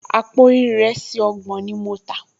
Àpò ìrẹsì ọgbọ̀n ni mo tà